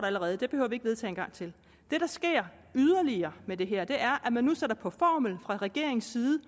allerede det behøver vi ikke vedtage en gang til det der sker yderligere med det her er at man nu fra regeringens side